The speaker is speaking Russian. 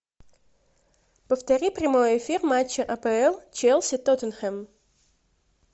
повтори прямой эфир матча апл челси тоттенхэм